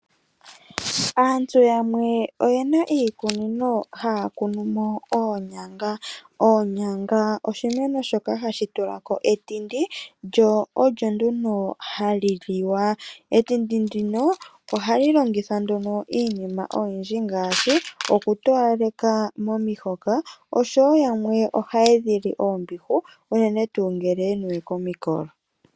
Aantu yamwe oyena iikunino haya kunumo oonyanga. Oonyanga oshimeno shoka hashi tulako etindi lyo olyo nduno hali liwa. Etindi ndino ohali longithwa iinima oyindji ngaashi okutowaleka momihoka oshowoo yamwe ohaya dhi li oombihu, unene tuu ngele ye niwe komikolo.